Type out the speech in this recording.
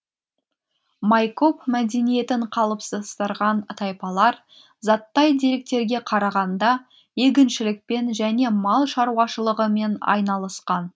майкоп мәдениетін қалыптастырған тайпалар заттай деректерге қарағанда егіншілікпен және мал шаруашылығымен айналысқан